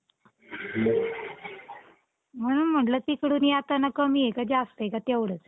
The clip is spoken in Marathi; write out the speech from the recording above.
म्हणुन म्हटलं तिकडून येताना कमी हाय का जास्त हाय काय तेवढंच?